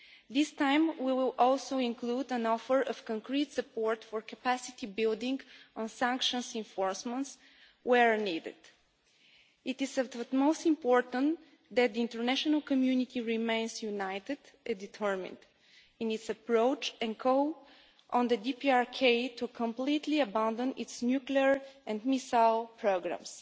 This time we will also include an offer of concrete support for capacity building on sanctions enforcements where needed. It is of the utmost importance that the international community remains united and determined in its approach, and calls on the DPRK to completely abandon its nuclear and missile programmes.